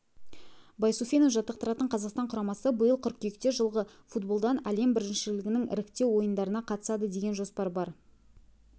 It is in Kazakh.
байсуфинов жаттықтыратын қазақстан құрамасы биыл қыркүйекте жылғы футболдан әлем біріншілігінің іріктеу ойындарына қатысады деген жоспар бар